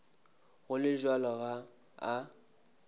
go le bjalo ga a